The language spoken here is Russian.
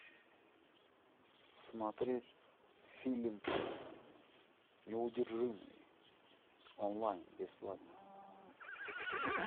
смотреть фильм неудержимые онлайн бесплатно